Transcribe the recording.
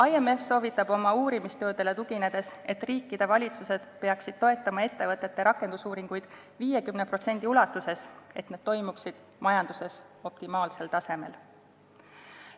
IMF soovitab oma uurimistöödele tuginedes, et riikide valitsused peaksid toetama ettevõtete rakendusuuringuid 50% ulatuses, selleks et need toimiksid majanduses optimaalsel tasemel.